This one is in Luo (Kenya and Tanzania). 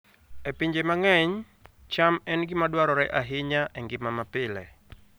E pinje mang'eny, cham en gima dwarore ahinya e ngima mapile